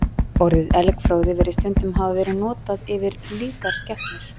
Orðið elgfróði virðist stundum hafa verið notað yfir líkar skepnur.